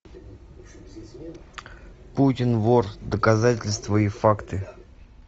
путин вор доказательства и факты